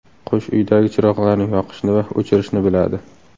Qush uydagi chiroqlarni yoqishni va o‘chirishni biladi.